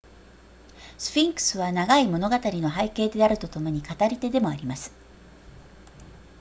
スフィンクスは長い物語の背景であるとともに語り手でもあります